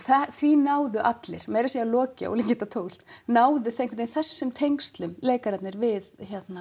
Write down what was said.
því náðu allir meira að segja Loki ólíkindatól náðu einhvern veginn þessum tengslum leikararnir við